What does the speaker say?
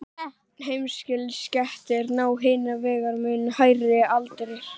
heimiliskettir ná hins vegar mun hærri aldri